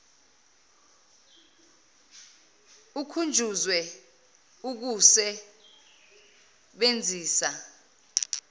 ukhunjuzwe ukuse benzisa